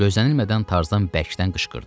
Gözlənilmədən tarzan bərkdən qışqırdı.